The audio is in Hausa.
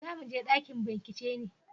za mu je ɗakin bincike ne?